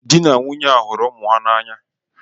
Dị na nwunye a hụrụ ụmụ ha n'anya.